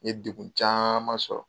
N ye dekun caman sɔrɔ.